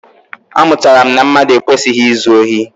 Amụtara m na mmadụ ekwesịghị izu ohi.